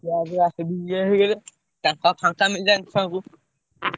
ଛୁଆ ଇଏ ହେଇଗଲେ ତାଙ୍କୁ ଆଉ ଫାଙ୍କା ମିଳିଲାନି ଛୁଆଙ୍କୁ।